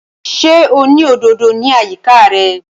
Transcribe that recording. Ṣé o ní òdòdò ní àyíká rẹ̀?